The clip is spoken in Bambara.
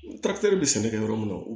bɛ sɛnɛ kɛ yɔrɔ min na o